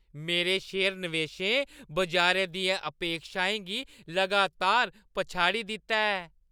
मेरे शेयर नवेशें बजारै दियें अपेक्षाएं गी लगातार पछाड़ी दित्ता ऐ।